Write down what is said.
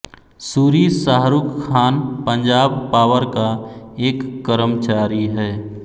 Suri Shahrukh Khan Punjab power का एक कर्मचारी है